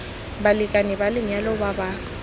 balekane ba lenyalo ba ba